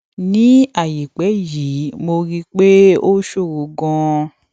ní àìpẹ yìí mo rí i pé ó ṣòro ganan